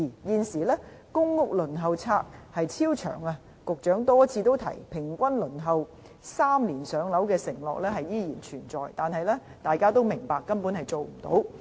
現時公屋輪候冊超長，雖然局長多次提到"平均3年上樓"的承諾依然存在，但大家都明白根本做不到。